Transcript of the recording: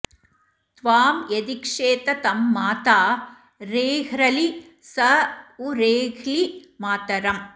त्वां यदीक्षेत तं माता रेह्रलि स उ रेह्लि मातरम्